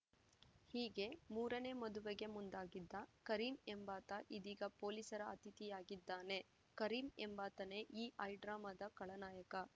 ಹೀಗೆ ಮೂರನೇ ಮದುವೆಗೆ ಮುಂದಾಗಿದ್ದ ಕರೀಂ ಎಂಬಾತ ಇದೀಗ ಪೊಲೀಸರ ಅತಿಥಿಯಾಗಿದ್ದಾನೆ ಕರೀಂ ಎಂಬಾತನೇ ಈ ಹೈಡ್ರಾಮಾದ ಖಳನಾಯಕ